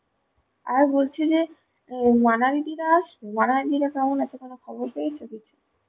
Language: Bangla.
আর বলছি যে ও মানালি দিদিরা আসবে? মানালি দিদিরা কেমন আছে কোনো খবর পেয়েছ কিছু?